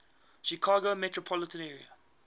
chicago metropolitan area